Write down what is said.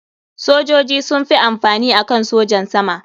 Sojoji sun fi amfani akan sojan sama.